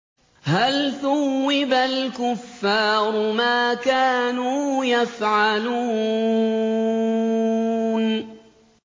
هَلْ ثُوِّبَ الْكُفَّارُ مَا كَانُوا يَفْعَلُونَ